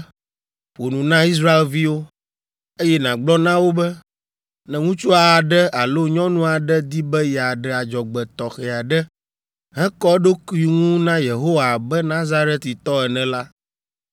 “Ƒo nu na Israelviwo, eye nàgblɔ na wo be, ‘Ne ŋutsu aɖe alo nyɔnu aɖe di be yeaɖe adzɔgbe tɔxɛ aɖe hekɔ eɖokui ŋu na Yehowa abe Nazaritɔ ene la,